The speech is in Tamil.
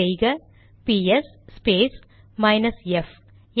டைப் செய்க பிஎஸ் ஸ்பேஸ் மைனஸ் எப்f